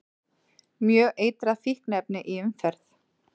Mjög eitrað fíkniefni í umferð